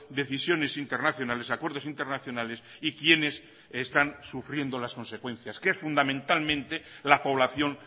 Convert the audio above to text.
decisiones internacionales acuerdos internacionales y quienes están sufriendo las consecuencias que es fundamentalmente la población